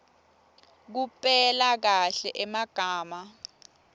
kupela kahle emagama